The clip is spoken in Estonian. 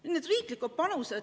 Nüüd riikide panusest.